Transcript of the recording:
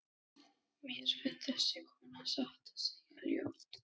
Mér finnst þessi kona satt að segja ljót.